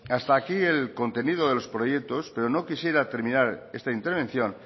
hasta aquí el contenido de los proyectos pero no quisiera terminar esta intervención